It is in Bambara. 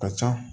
Ka ca